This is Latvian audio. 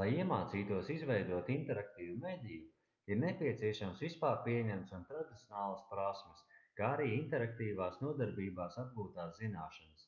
lai iemācītos izveidot interaktīvu mediju ir nepieciešamas vispārpieņemtas un tradicionālas prasmes kā arī interaktīvās nodarbībās apgūtās zināšanas